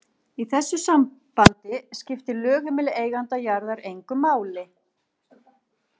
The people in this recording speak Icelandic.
Í þessu sambandi skiptir lögheimili eiganda jarðar engu máli.